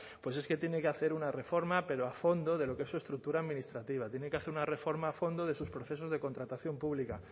pues es que tiene que hacer una reforma pero a fondo de lo que es su estructura administrativa tiene que hacer una reforma a fondo de sus procesos de contratación pública